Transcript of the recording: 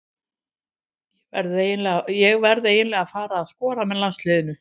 Ég verð eiginlega að fara að skora með landsliðinu.